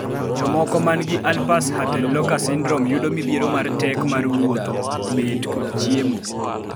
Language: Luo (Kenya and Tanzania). jomoko mangi Alpers-Huttenlocher syndrome yudo midhiero mar tek mar wuotho, betkod cheimo